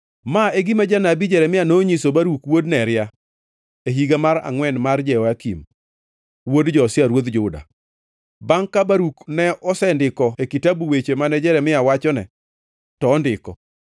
Ma e gima janabi Jeremia nonyiso Baruk wuod Neria e higa mar angʼwen ma Jehoyakim wuod Josia ruodh Juda, bangʼ ka Baruk ne osendiko e kitabu weche mane Jeremia wachone to ondiko: